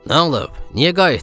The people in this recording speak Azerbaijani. Nə olub, niyə qayıtdın?